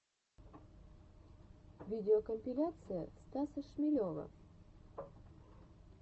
видеокомпиляция стаса шмелева